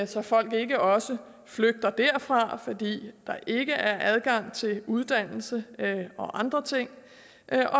så folk ikke også flygter derfra fordi der ikke er adgang til uddannelse og andre ting